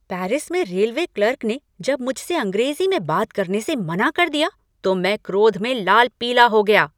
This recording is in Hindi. पेरिस में रेलवे क्लर्क ने जब मुझसे अंग्रेजी में बात करने से मना कर दिया तो मैं क्रोध में लाल पीला हो गया।